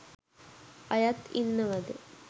අයත් ඉන්නවද ?